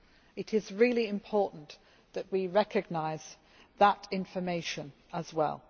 It is really important that we recognise that information as well.